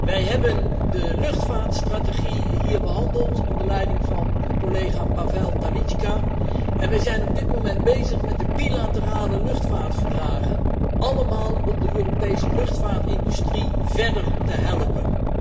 Wij hebben de luchtvaartstrategie hier behandeld onder leiding van collega Pavel Telička en we zijn op dit moment bezig met de bilaterale luchtvaartverdragen, allemaal om de Europese luchtvaartindustrie verder te helpen.